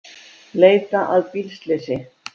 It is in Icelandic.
Leita að bílslysi